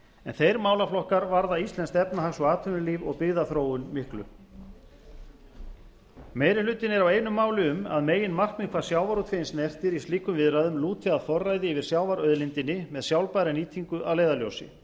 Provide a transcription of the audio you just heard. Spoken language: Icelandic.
en þeir málaflokkar varða íslenskt efnahags og atvinnulíf og byggðaþróun miklu meiri hlutinn er á einu máli um að meginmarkmið hvað sjávarútveginn snertir í slíkum viðræðum lúti að forræði yfir sjávarauðlindinni með sjálfbæra nýtingu að leiðarljósi